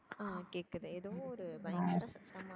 அஹ் கேக்குது ஏதோ ஒரு பயங்கரமான சத்தமா இருக்கு.